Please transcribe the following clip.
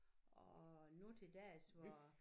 Og nu til dags hvor